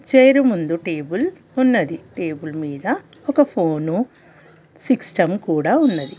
తేరు ముందు టేబుల్ ఉన్నది టేబుల్ మీద ఒక ఫోను సిస్టం కూడా ఉన్నది .